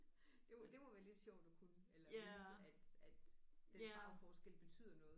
Det må det må være lidt sjovt at kunne eller vide at at den farveforskel betyder noget